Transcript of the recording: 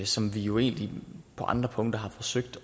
som vi jo egentlig på andre punkter har forsøgt